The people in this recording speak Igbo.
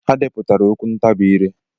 Ha depụtara okwu ntabi ire.